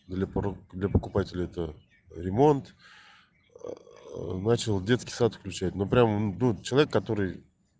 для покупателя это ремонт начал детский сад включать ну прямо человек который